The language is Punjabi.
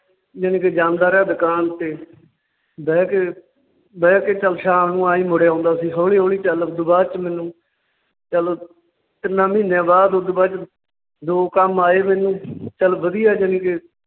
ਜਾਣੀ ਕਿ ਜਾਂਦਾ ਰਿਹਾ ਦੁਕਾਨ ਤੇ ਬਹਿ ਕੇ ਬਹਿ ਕੇ ਚੱਲ ਸ਼ਾਮ ਨੂੰ ਆਂਈ ਮੁੜ ਆਉਂਦਾ ਸੀ ਹੌਲੀ ਹੌਲੀ ਚੱਲ ਓਦੂ ਬਾਅਦ ਚ ਮੈਨੂੰਚੱਲ ਓਦ ਤਿੰਨਾਂ ਮਹੀਨਿਆਂ ਬਾਅਦ ਓਦੂ ਬਾਅਦ ਚ ਦੋ ਕੰਮ ਆਏ ਮੈਨੂੰ ਚੱਲ ਵਧੀਆ ਜਾਣੀ ਕਿ